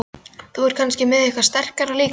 Þú ert kannski með eitthvað sterkara líka?